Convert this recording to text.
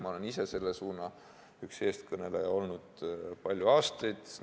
Ma olen ise üks selle suuna eestkõnelejaid olnud palju aastaid.